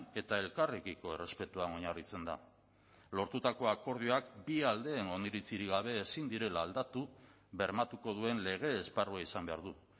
eta elkarrekiko errespetuan oinarritzen da lortutako akordioak bi aldeen oniritzirik gabe ezin direla aldatu bermatuko duen lege esparrua izan behar du